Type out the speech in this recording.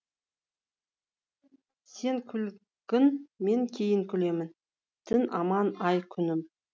сен күлгін мен кейін күлемін дін аман ай күнім